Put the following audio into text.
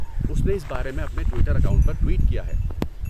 اس نے اس بارے میں اپنے ٹوئٹر اکاؤنٹ پر ٹوئٹ کیا ہے۔